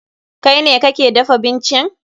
Kai ne kake dafa bincin?